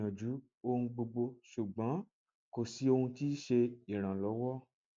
mo ti gbiyanju ohun gbogbo ṣugbọn ko si ohun ti ṣe iranlọwọ